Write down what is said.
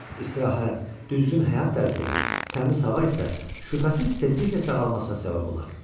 İstirahət, düzgün həyat tərzi, təmiz hava isə şübhəsiz tezliklə sağalmasına səbəb olar.